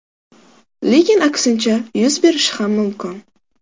Lekin aksincha yuz berishi ham mumkin.